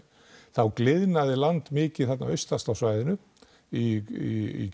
þá gliðnaði land mikið þarna austast á svæðinu í